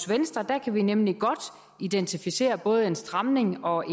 venstre kan vi nemlig godt identificere både en stramning og